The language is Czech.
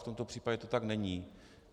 V tomto případě to tak není.